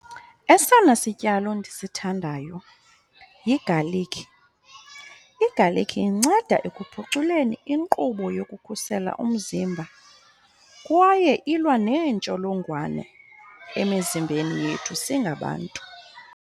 Esona sityalo ndisithandayo yigalikhi. Igalikhi inceda ekuphuculeni inkqubo yokukhusela umzimba kwaye ilwa neentsholongwane emizimbeni yethu singabantu.